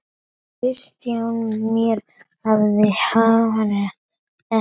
Kristján Már: Af hverju ekki?